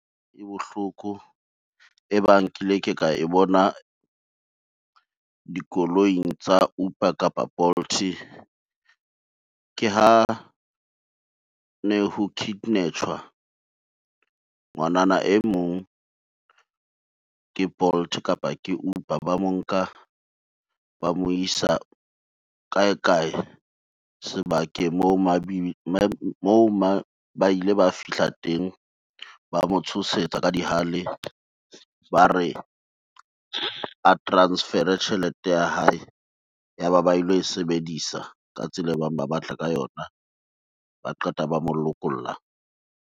E bohloko e bang kile ka e bona, dikoloing tsa Uber kapa Bolt. Ke ha ne ho kidnap-tjwa ngwanana e mong ke Bolt kapa ke Uber. Ba mo nka, ba mo isa kae kae sebakeng moo ba ile ba fihla teng ba motshosetsa ka dihale. Ba re a transfer-e tjhelete ya hae, ya ba ba ilo e sebedisa ka tsela e bang ba batla ka yona, ba qeta ba mo lokolla.